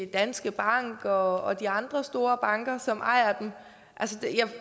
danske bank og de andre store banker som ejer dem